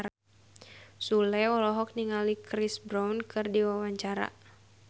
Sule olohok ningali Chris Brown keur diwawancara